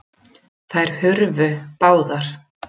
Þær hurfu báðar.